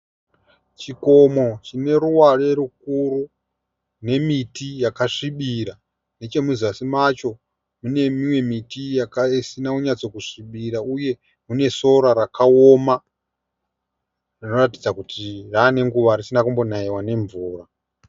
Chikomo chine ruware rukuru nemiti yakasvibira. Nechemuzasi macho mune imwe miti isina kunyatso svibira uye mune sora rakaoma rinoratidza kuti rave nenguva risina kumbonaiwa nemvura.